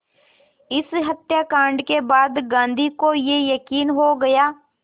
इस हत्याकांड के बाद गांधी को ये यक़ीन हो गया